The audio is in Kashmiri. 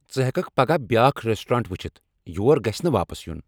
ژٕ ہیککھ پگہہٕ بیاکھ ریسٹورینٹ ؤچھتھ یور گژھِہ نہٕ واپس یُن۔